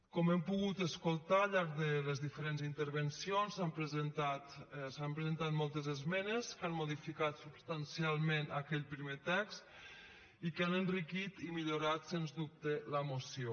com hem pogut escoltar al llarg de les intervencions s’han presentat moltes esmenes que han modificat substancialment aquell primer text i que han enriquit i millorat sens dubte la moció